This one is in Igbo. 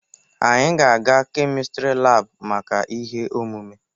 Anyị ga-aga kemistrị laabụ maka ihe omume.